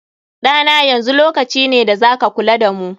Ɗa na, yanzu lokaci ne da za ka kula da mu.